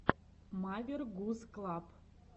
мавер гуз клаб